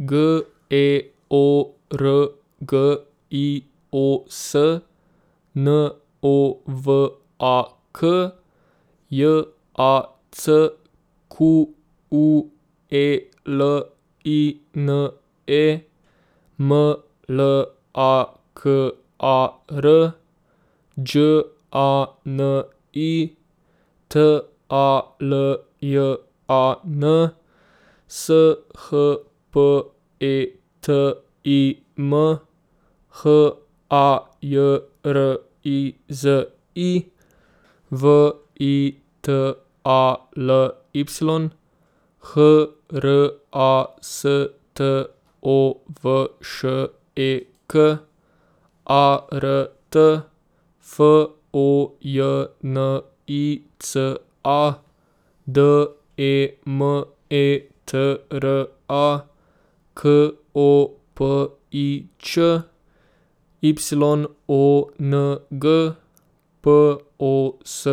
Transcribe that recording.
G E O R G I O S, N O W A K; J A C Q U E L I N E, M L A K A R; Đ A N I, T A L J A N; S H P E T I M, H A J R I Z I; V I T A L Y, H R A S T O V Š E K; A R T, F O J N I C A; D E M E T R A, K O P I Č; Y O N G, P O S